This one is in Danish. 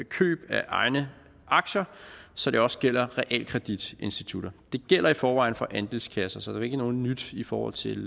køb af egne aktier så det også gælder realkreditinstitutter det gælder i forvejen for andelskasser så det er ikke noget nyt i forhold til